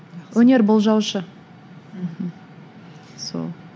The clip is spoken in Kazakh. өнер болжаушы мхм сол